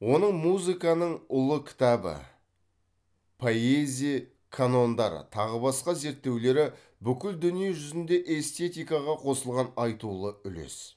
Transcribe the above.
оның музыканың ұлы кітабы поэзия канондары тағы басқа зерттеулері бүкіл дүние жүзінде эстетикаға қосылған айтулы үлес